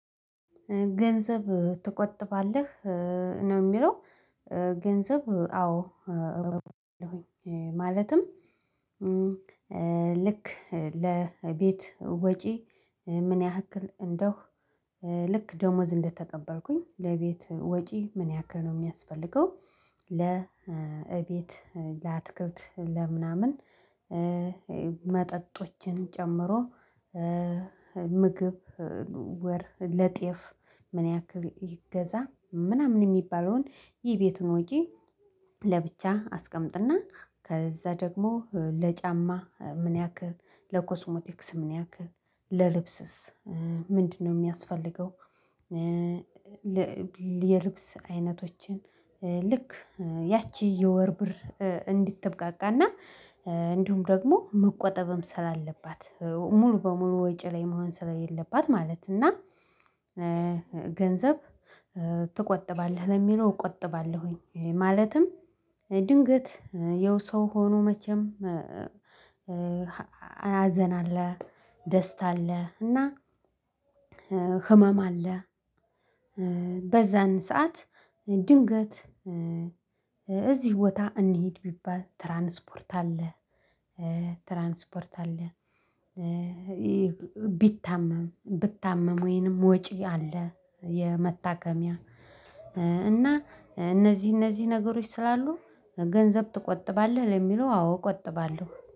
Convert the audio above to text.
ገንዘብ ትቆጥባለህ ነው የሚለው? ገንዘብ አዎ እቆጥባለሁኝ ማለትም ልክ ለቤት ወጪ ምን ያህል እንደሁ ልክ ደሞዝ እንደተቀበልኩኝ ለቤት ወጪ ምን ያህል ነው የሚያስፈልገው። ለቤት ለአትክልት ለምናምን መጠጦችን ጨምሮ ምግብ ለጤፍ ምን ያህል ይገዛ ምናምን የሚባለውን የቤቱን ወጪ ለብቻ አስቀምጥና ከዛ ደግሞ ለጫማ ምን ያክል ለኮስሞቲክስ ምን ያህል ለልብስስ ምንድነው የሚያስፈልገው። የልብስ አይነቶችን ልክ ያቺ የወር ብር እንድትብቃቃ እና እንዲሁም ደግሞ መቆጠብም ስላለባት ሙሉ በሙሉ ወጪ ላይ መሆን ስለሌለባት ማለት እና ገንዘብ ትቆጥባለህ ለሚለው እቆጥባለሁኝ። ማለትም ድንገት ያው ሰው ሆኖ መቼም ሀዘን አለ ደስታ አለ። እና ህመም አለ። በዛን ሰዓት ድንገት እዚህ ቦታ እንሂድ ቢባል ትራንስፖርት አለ ትራንስፖርት አለ። ቢታመም ብታመም ወይንም ወጪ አለ የመታከሚያ እና እነዚህ እነዚህ ነገሮች ስላሉ ገንዘብ ትቆጥባለህ ለሚለው አዎ እቆጥባለሁ